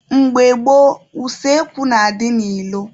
Mgbe gboo, useekwu na-adị n'ilo.